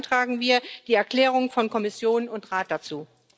Deshalb beantragen wir die Erklärungen von Kommission und Rat dazu.